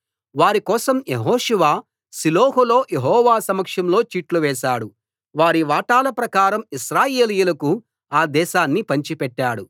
వారి కోసం యెహోషువ షిలోహులో యెహోవా సమక్షంలో చీట్లు వేశాడు వారి వాటాల ప్రకారం ఇశ్రాయేలీయులకు ఆ దేశాన్ని పంచిపెట్టాడు